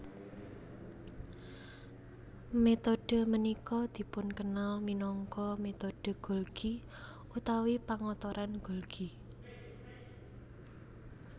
Metode punika dipunkenal minangka metode Golgi utawi pengotoran Golgi